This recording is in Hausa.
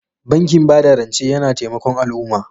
Bankin ba da rance yana taimakon al'umma.